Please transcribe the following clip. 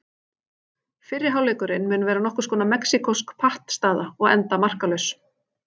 Fyrri hálfleikurinn mun vera nokkurs konar mexíkósk pattstaða og enda markalaus.